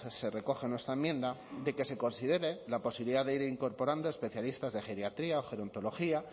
se recoge en nuestra enmienda de que se considere la posibilidad de ir incorporando especialistas de geriatría o gerontología